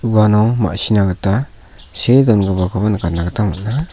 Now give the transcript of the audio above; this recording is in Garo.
uano ma·sina gita see dongipakoba nikatna gita man·a.